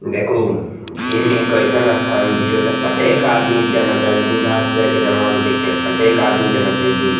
देखूं जिम एक अइसन स्थान जिय ओते प्रत्येक आदमी के जाना चाहिए बूढ़ा से लेके जवान तक के प्रत्येक आदमी के जाना चाहिए जिम ।